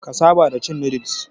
Ka saba da cin noodles.